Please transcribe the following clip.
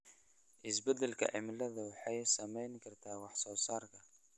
Isbeddelka cimiladu waxay saameyn kartaa wax soo saarka.